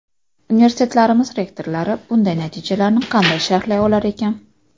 Universitetlarimiz rektorlari bunday natijalarni qanday sharhlay olar ekan?